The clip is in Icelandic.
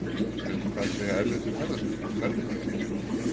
En hvað segja erlendir ferðamenn um verðlagið hér á landi?